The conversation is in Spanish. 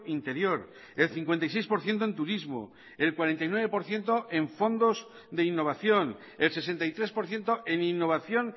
interior el cincuenta y seis por ciento en turismo el cuarenta y nueve por ciento en fondos de innovación el sesenta y tres por ciento en innovación